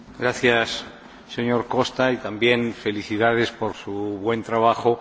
Gracias, señor Costa, y también felicidades por su buen trabajo.